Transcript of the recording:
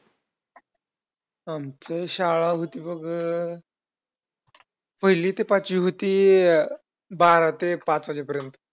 आमची शाळा होती बघ पहिली ते पाचवी होती बारा ते पाच वाजेपर्यंत.